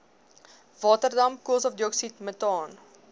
waterdamp koolstofdioksied metaan